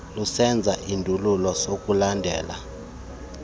lusenza isindululo sokulandela